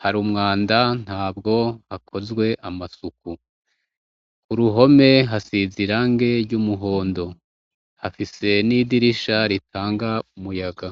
hari umwanda ntabwo hakozwe amasuku uruhome hasize irangi ryumuhondo hafise nidirisha ritanga umuyaga